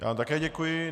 Já vám také děkuji.